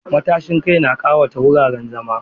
Matashin kai na ƙawata wuraren zama.